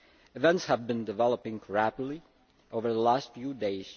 Events have been developing rapidly over the last few days.